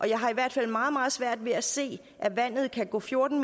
jeg har i hvert fald meget meget svært ved at se at vandet kan gå fjorten